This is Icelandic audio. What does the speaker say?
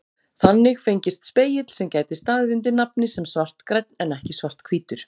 Þannig fengist spegill sem gæti staðið undir nafni sem svartgrænn en ekki svarthvítur.